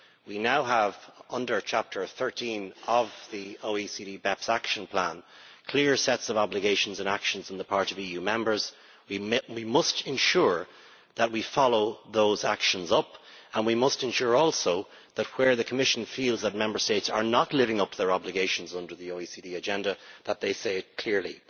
We now have under Chapter 13 of the OECD BEPS Action Plan clear sets of obligations and actions on the part of EU Members. We must ensure that we follow those actions up and we must ensure also that where the Commission feels that Member States are not living up to their obligations under the OECD agenda, that they say it clearly.